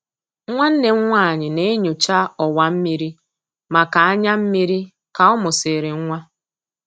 Nwanne m nwanyị na-enyocha ọwa mmiri maka anya mmiri ka ọ mụsịrị nwa.